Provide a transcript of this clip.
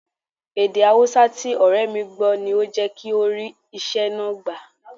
Èdè Haúsá tí ọ̀rẹ́ mi gbọ́ ni ó jẹ́ kí ó rí iṣẹ́ náà gbà